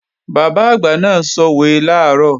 Bàbá àgbà náà sòwe làárọ̀